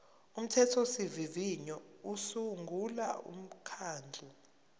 umthethosivivinyo usungula umkhandlu